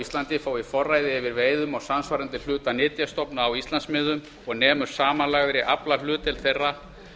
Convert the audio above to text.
íslandi fái forræði yfir veiðum á samsvarandi hluta nytjastofna á íslandsmiðum og nemur samanlagðri aflahlutdeild þeirra